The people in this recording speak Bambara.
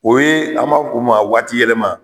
O ye an m'a f'u ma waatiyɛlɛma.